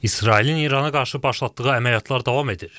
İsrailin İrana qarşı başlatdığı əməliyyatlar davam edir.